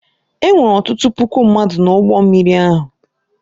E nwere ọtụtụ puku mmadụ n’ụgbọ mmiri ahụ.